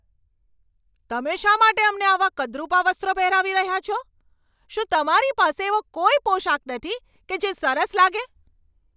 તમે શા માટે અમને આવાં કદરૂપાં વસ્ત્રો પહેરાવી રહ્યા છો? શું તમારી પાસે એવો કોઈ પોશાક નથી કે જે સરસ લાગે?